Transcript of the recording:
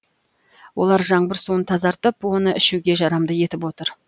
олар жаңбыр суын тазартып оны ішуге жарамды етіп отыр